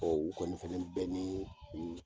Ɔ olu kɔni fana bɛ ni